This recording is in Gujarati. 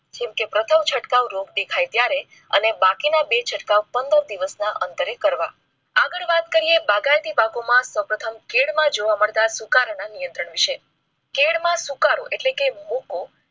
જેમકે પ્રથમ ચટકાવો રોપ દેખાય ત્યારે અને બાકીના ને બે ચટકાવો પંદર દિવસના અંતરે કરવા. આગળ વાત કરીયે બાગાયતી પાકોમાં ખેડમાં જોવા મળતા સુકારા ના નિયંત્રણ વિષે કેદ માં સુકારો એટલે કે રોપો